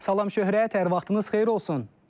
Salam Şöhrət, hər vaxtınız xeyir olsun.